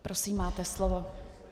Prosím, máte slovo.